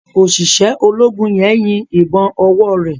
Oṣiṣẹ ológun yén yín ìbọn owore.